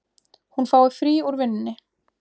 Hún fái frí úr vinnunni.